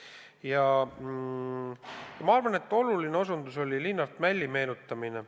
Ja ma arvan, et oluline osutus oli ka Linnart Mälli meenutamine.